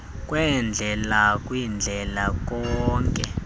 kweendlela kwindlela kawonke